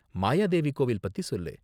மாயாதேவி கோவில் பத்தி சொல்லு.